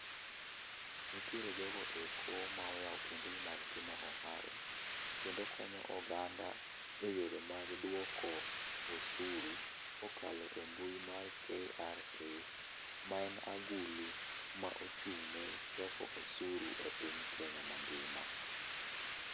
Nitiere jo go eko ma oyawo kuonde gi mag timo ohala kendo konyo oganda e yore mag dwoko osuru ka okalo e mbui mar KRA ma en agulu ma ochung' ne choko osuru e piny mar Kenya ma ngima.